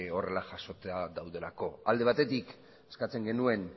horrela jasota daudelako alde batetik eskatzen genuen